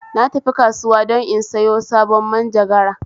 Na tafi kasuwa don in sayo sabon manjagara